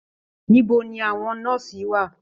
Níbo ní àwọn nọ́ọ́sì wà?